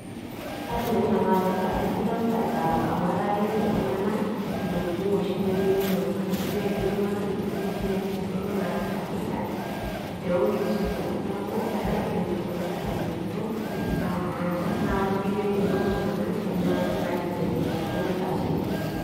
Aidim ake nanu atejo sidai mtandao, amu eta keliki iltungana entoki nemeyiolo iltungana, ashu eliki iltunganak intokitin oshi naisudoro nasita sirkali, tonkisundorot niaku eta kindim iltunganak atayiolito imbaa naasa, naa ore doi peyiolou iltungana na kindim serkali aibelekenyata nitasheyie,